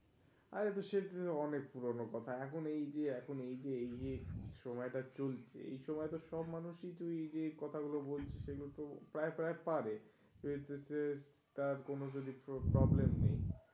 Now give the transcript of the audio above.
আরে তো সেই অনেক পুরানো কথা. এখন এইযে এখন এইযে এইযে সময়টা চলছে এই সময় তো সব মানুষই তো এই যে কথাগুলো বলছে। সেগুলো তো প্রায় প্রায় পারে আহ তা কোন যদি তো problem নেই.